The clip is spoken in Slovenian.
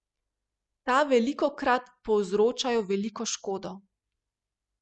Ta velikokrat povzročajo veliko škodo.